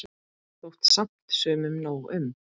Þótti samt sumum nóg um.